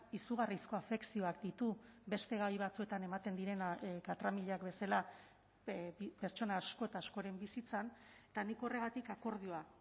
izugarrizko afekzioak ditu beste gai batzuetan ematen direnak katramilak bezala pertsona asko eta askoren bizitzan eta nik horregatik akordioa